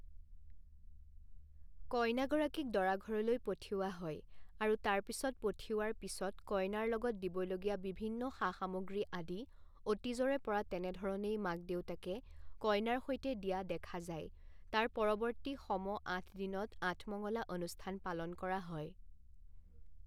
কইনাগৰাকীক দৰা ঘৰলৈ পঠিওৱা হয় আৰু তাৰপিছত পঠিওৱাৰ পিছত কইনাৰ লগত দিবলগীয়া বিভিন্ন সা সামগ্ৰী আদি অতীজৰে পৰা তেনেধৰণেই মাক দেউতাকে কইনাৰ সৈতে দিয়া দেখা যায় তাৰ পৰৱৰ্তী সম আঠদিনত আঠমঙলা অনুস্থান পালন কৰা হয়।